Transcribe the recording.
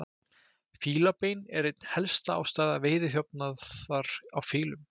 Fílabein er ein helsta ástæða veiðiþjófnaðar á fílum.